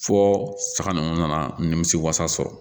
Fɔ saga ninnu nana nimisi wasa sɔrɔ